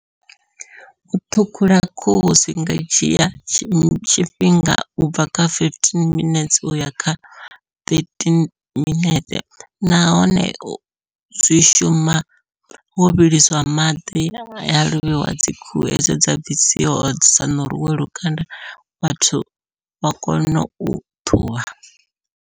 U ṱhukhula khuhu zwi nga dzhia tshifhinga u bva kha fifteen minetse uya kha thirteen minetse, nahone u zwi shuma wo vhiliswa maḓi ya lovheiwa dzi khuhu hedzo dza bvisiwa uri dzi sa ṋuriwe lukanda vhathu vha kone u ṱhuvha.